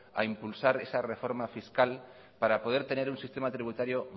a impulsar esa reforma fiscal para poder tener un sistema tributario